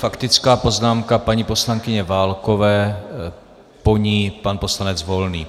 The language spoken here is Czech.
Faktická poznámka paní poslankyně Válkové, po ní pan poslanec Volný.